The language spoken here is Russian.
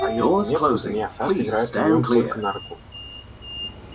а если нет то змея сатт играет на нем только на руку